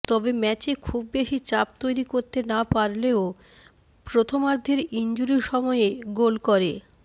তবে ম্যাচে খুব বেশি চাপ তৈরি করতে না পারলেও প্রথমার্ধের ইনজুরি সময়ে গোল করে